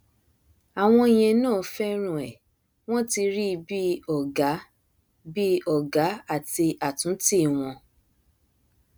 àwọn yẹn náà fẹràn ẹ wọn ti rí i bí ọgá bí ọgá àti àtúntì wọn